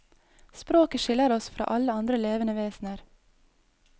Språket skiller oss fra alle andre levende vesener.